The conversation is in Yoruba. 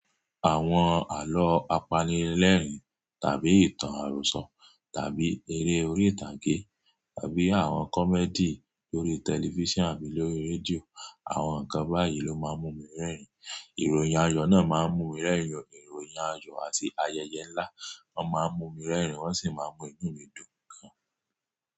Àwon àló apanilérìn tàbí ìtàn àròsọ tàbí eré orí ìtàgé tàbí àwon comedy lórí tẹlifísàn àbí lórí rédíò, àwon nkan báyìí ló máa ń mú mi rẹ́rìn. Ìròyìn ayọ náà máa ń mú mi rẹ́rìn. Ìròyìn ayọ àti ayẹyẹ ńlá máa ń mú mi rẹ́rìn, wọ́n sì máa ń mú inú mi dùn gan.